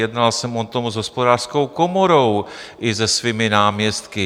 Jednal jsem o tom s Hospodářskou komorou i se svými náměstky.